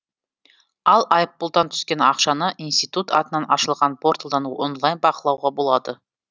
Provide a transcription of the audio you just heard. ал айыппұлдан түскен ақшаны институт атынан ашылған порталдан онлайн бақылауға болады